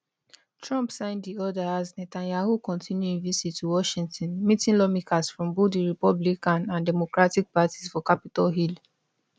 trump sign di order as netanyahu continue im visit to washington meeting lawmakers from both di republican and democratic parties for capitol hill